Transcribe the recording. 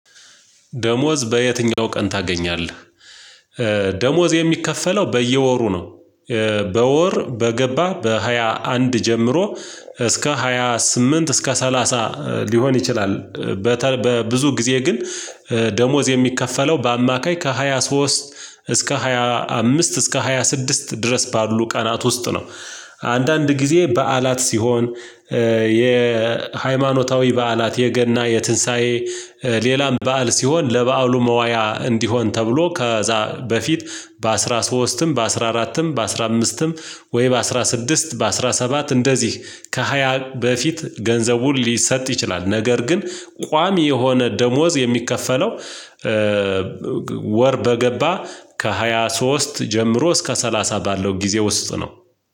ደሞዝ በየትኛው ቀን ታገኛለህ? ደሞዝ የሚከፈለው በየወሩ ነው። በወር በገባ በሃያ አንድ ጀምሮ እስከ ሃያ ስምንት እስከ ሰላሳ ሊሆን ይችላል። በብዙ ጊዜ ግን። ደሞዝ የሚከፈለው በአማካይ ከሃያ ሶስት እስከ ሃያ አምስት እስከ ሃያ ስድስት ድረስ ባሉ ቀናት ውስጥ ነው። አንዳንድ ጊዜ በዓላት ሲሆን። የሃይማኖታዊ በዓላት የገና የትንሳኤ ሌላም በዓል ሲሆን ለበዓሉ መዋያ እንዲሆን ተብሎ ከዛ በፊት በአሥራ ሦስትም በአሥራ አራትም በአሥራ አምስትም ወይ በአስራ ስድስት በአስራ ሰባት እንደዚህ ከሃያ በፊት ገንዘቡን ሊሰጥ ይችላል። ነገር ግን ቋሚ የሆነ ደሞዝ የሚከፈለው ወር በገባ ከሃያ ሶስት ጀምሮ እስከ ሰላሳ ባለው ጊዜ ውስጥ ነው።